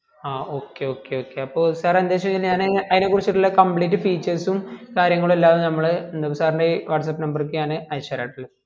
ആ okay okay okay അപ്പൊ എന്ത് വെച് കൈഞ്ഞാ അയ്ന കുറിച്ചിട്ടുള്ള complete features സും കാര്യങ്ങളും എല്ലാം നമ്മള് എന്താപ്പാ sir ൻ്റെ whatsappil number ക്ക് ഞാൻ അയച്ചേരാട്ടാലോ